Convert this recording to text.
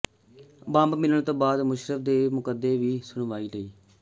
bomb ਮਿਲਣ ਤੋਂ ਬਾਅਦ ਮੁਸ਼ੱਰਫ ਦੇ ਮੁਕੱਦਮੇ ਦੀ ਸੁਣਵਾਈ ਟਲੀ